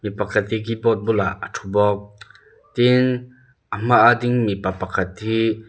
pakhat hi keyboard bulah a thu bawk tin a hmaa ding mipa pakhat hi--